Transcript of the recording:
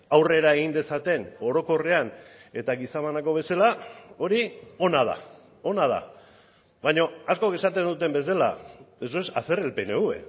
aurrera egin dezaten orokorrean eta giza banako bezala hori ona da ona da baina askok esaten duten bezala eso es hacer el pnv